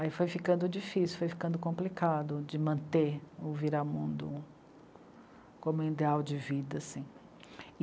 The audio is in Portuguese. Aí foi ficando difícil, foi ficando complicado de manter o Viramundo como um ideal de vida, assim.